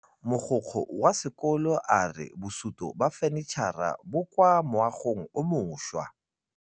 Mogokgo wa sekolo a re bosutô ba fanitšhara bo kwa moagong o mošwa.